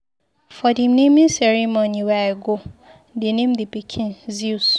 For the naming ceremony wey I go, they name the pikin Zeus.